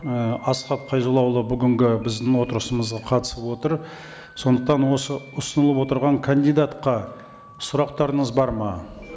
і асхат қайзоллаұлы бүгінгі біздің отырысымызға қатысып отыр сондықтан осы ұсынылып отырған кандидатқа сұрақтарыңыз бар ма